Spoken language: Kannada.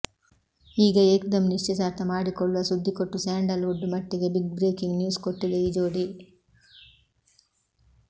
ಈಗ ಏಕ್ದಂ ನಿಶ್ಚಿತಾರ್ಥ ಮಾಡಿಕೊಳ್ಳುವ ಸುದ್ದಿ ಕೊಟ್ಟು ಸ್ಯಾಂಡಲ್ ವುಡ್ ಮಟ್ಟಿಗೆ ಬಿಗ್ ಬ್ರೇಕಿಂಗ್ ನ್ಯೂಸ್ ಕೊಟ್ಟಿದೆ ಈ ಜೋಡಿ